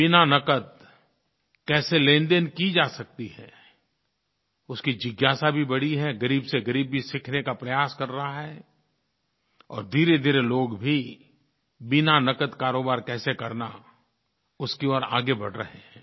बिना नक़द कैसे लेनदेन की जा सकती है उसकी जिज्ञासा भी बढ़ी है ग़रीब से ग़रीब भी सीखने का प्रयास कर रहा है और धीरेधीरे लोग भी बिना नक़द कारोबार कैसे करना उसकी ओर आगे बढ़ रहे हैं